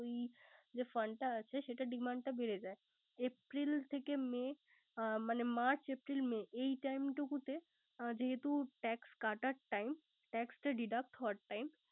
ওই Fund টা আছে। সে অটার demand টা বেরে যায়। april থেকে may । মানে march, april, may যেহেতু time টুকুটতে tax কাটার time । tax টা Ddeduct হওয়ার time